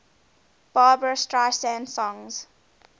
barbra streisand songs